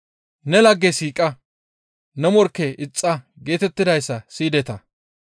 « ‹Ne lagge siiqa; ne morkke ixxa› geetettidayssa siyideta.